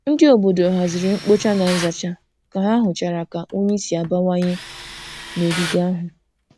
Ndị obodo haziri mkpocha na nzacha ka ha hụchara ka unyi si abawanye n'ogige ahụ.